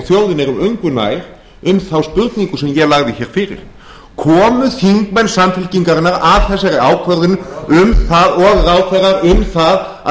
þjóðin erum engu nær um þá spurningu sem ég lagði fyrir komu þingmenn samfylkingarinnar að þessari ákvörðun og ráðherrar um það að